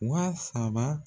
Wa saba